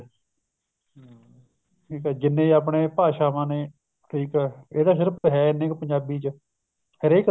ਠੀਕ ਹੈ ਜਿੰਨੇ ਆਪਣੇ ਭਾਸ਼ਾਵਾਂ ਨੇ ਠੀਕ ਹੈ ਇਹ ਤਾਂ ਸਿਰਫ਼ ਇਹ ਇੰਨੇ ਕ ਪੰਜਾਬੀ ਚ ਨੇ ਹਰੇਕ